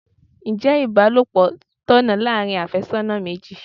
Ǹjẹ́ ibalopo tọ̀nà láàárín afésónà méjì?